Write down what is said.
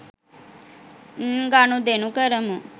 න් ගනු දෙනු කරමු